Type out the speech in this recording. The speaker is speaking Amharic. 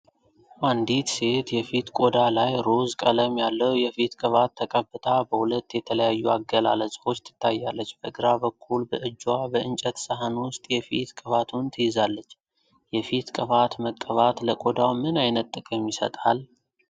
አንዲት ሴት የፊት ቆዳ ላይ ሮዝ ቀለም ያለው የፊት ቅባት ተቀብታ በሁለት የተለያዩ አገላለጾች ትታያለች። በግራ በኩል በእጅዋ በእንጨት ሳህን ውስጥ የፊት ቅባቱን ትይዛለች። የፊት ቅባት መቀባት ለቆዳው ምን አይነት ጥቅም ይሰጣል?